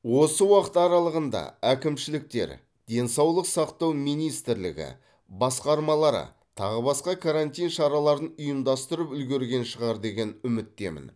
осы уақыт аралығында әкімшіліктер денсаулық сақтау министрлігі басқармалары тағы басқа карантин шараларын ұйымдастырып үлгерген шығар деген үміттемін